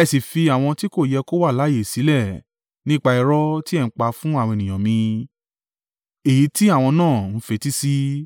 ẹ sì fi àwọn tí kò yẹ kó wà láààyè sílẹ̀ nípa irọ́ tí ẹ ń pa fún àwọn ènìyàn mi, èyí tí àwọn náà ń fetí sí.